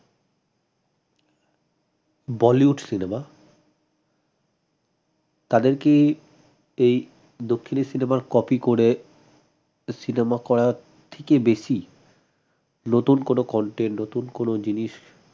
bollywood cinema তাদেরকে এই দক্ষিণের cinema copy করে cinema করা থেকে বেশি নতুন কোনো content নতুন কোনো জিনিস